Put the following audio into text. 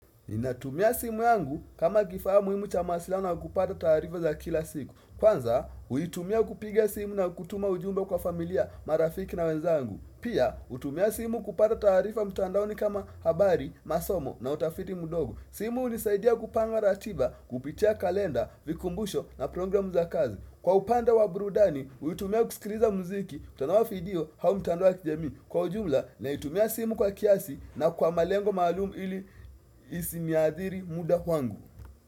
Inatumia simu yangu kama kifaa muhimu cha masilaha na kupata taarifa za kila siku. Kwanza, uitumia kupiga simu na kutuma ujumbe kwa familia marafiki na wenzangu. Pia, utumia simu kupata taarifa mtandaoni kama habari, masomo na utafiti mudogo. Simu hunisaidia kupanga ratiba kupitia kalenda, vikumbusho na programu za kazi. Kwa upanda wa burudani, huitumia kusikiliza muziki, kutolea video, au mtandao wa kijamii Kwa ujumla, na itumia simu kwa kiasi na kwa malengo maalumu ili isi niadhiri muda wangu.